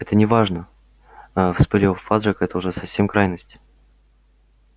это неважно а вспылил фадж это уж совсем крайность